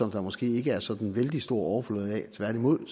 der måske ikke er sådan vældig stor overflod af tværtimod kan